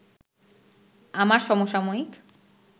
আমার সমসাময়িক